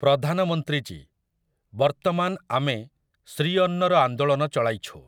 ପ୍ରଧାନମନ୍ତ୍ରୀଜୀ, ବର୍ତ୍ତମାନ ଆମେ ଶ୍ରୀଅନ୍ନର ଆଂଦୋଳନ ଚଳାଇଛୁ ।